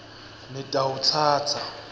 nitawutsatsa